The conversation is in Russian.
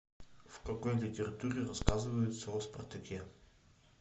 в какой литературе рассказывается о спартаке